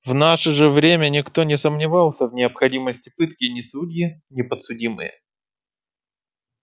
в наше же время никто не сомневался в необходимости пытки ни судьи ни подсудимые